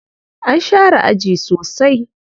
An share aji sosai.